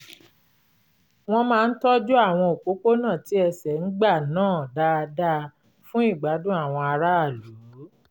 wọ́n máa ń tọ́jú àwọn òpópónà tí ẹsẹ̀ ń gbà náà dáadáa fún ìgbádùn àwọn aráàlú